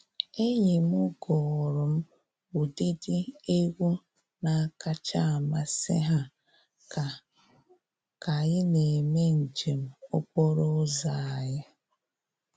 Enyi m gụụrụ m ụdịdị egwu na-akacha amasị ha ka ka anyị na-eme njem okporo ụzọ anyị.